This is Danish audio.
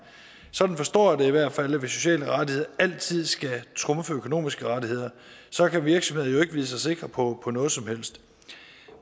sådan forstår jeg det i hvert fald altså at sociale rettigheder altid skal trumfe økonomiske rettigheder så kan virksomhederne vide sig sikre på noget som helst